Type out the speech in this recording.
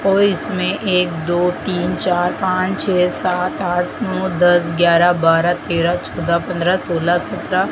और इस में एक दो तीन चार पांच छे सात आठ नौ दास ग्यारह बारह तेरह चौदह पंद्रह सोलह सत्रह--